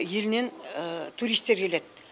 елінен туристер келеді